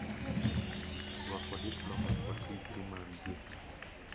Rwako diploma kod digri maggi.